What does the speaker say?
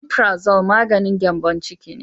"Omiprazole " maganin gyanbon ciki.